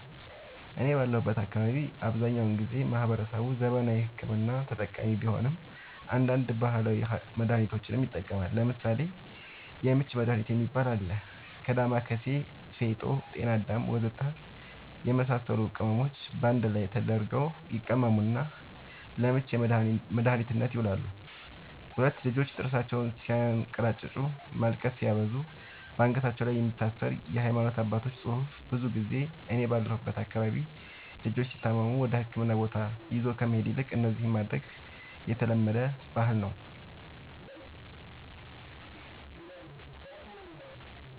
እኔ ባለሁበት አካባቢ አብዛኛውን ጊዜ ማህበረሰቡ ዘመናዊ ሕክምና ተጠቃሚ ቢሆንም አንዳንድ ባህላዊ መድሃኒቶችንም ይጠቀማሉ ለምሳሌ:- የምች መድሃኒት የሚባል አለ ከ ዳማከሲ ፌጦ ጤናአዳም ወዘተ የመሳሰሉት ቅመሞች ባንድ ላይ ተደርገው ይቀመሙና ለምች መድኃኒትነት ይውላሉ 2, ልጆች ጥርሳቸውን ስያንከራጭጩ ማልቀስ ሲያበዙ ባንገታቸው ላይ የሚታሰር የሃይማኖት አባቶች ፅሁፍ ብዙ ጊዜ እኔ ባለሁበት አካባቢ ልጆች ሲታመሙ ወደህክምና ቦታ ይዞ ከመሄድ ይልቅ እነዚህን ማድረግ የተለመደ ባህል ነዉ